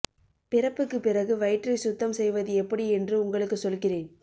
பிறப்புக்கு பிறகு வயிற்றை சுத்தம் செய்வது எப்படி என்று உங்களுக்கு சொல்கிறேன்